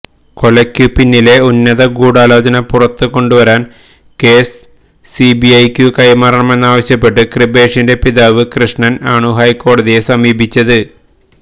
കൊലയ്ക്കു പിന്നിലെ ഉന്നത ഗൂഢാലോചന പുറത്തു കൊണ്ടുവരാന് കേസ് സിബിഐക്കു കൈമാറണമെന്നാവശ്യപ്പെട്ട് കൃപേഷിന്റെ പിതാവ് കൃഷ്ണന് ആണു ഹൈക്കോടതിയെ സമീപിച്ചത്